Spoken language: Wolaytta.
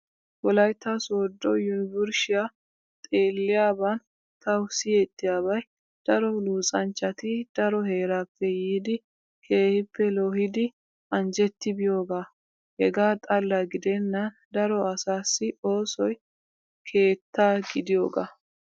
Wolaytta sooddo yunvurshiyaa xeeliyaaban tawu siyettiyaabay daro luxanchchati daro heeraappe yiiddi keehippe loohid anjjetti biyoogaa. Hegaa xalla gidennan daro asaassi oosoy keetta gidiyoogaa.